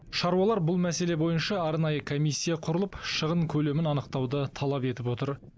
шаруалар бұл мәселе бойынша арнайы комиссия құрылып шығын көлемін анықтауды талап етіп отыр